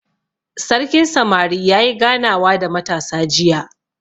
Sarkin samari yayi ganawa da matasa jiya.